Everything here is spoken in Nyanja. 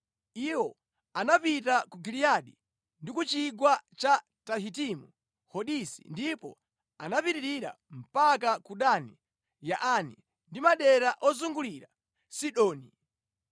Iwo anapita ku Giliyadi ndi ku chigwa cha Tahitimu Hodisi ndipo anapitirira mpaka ku Dani Yaani ndi madera ozungulira Sidoni.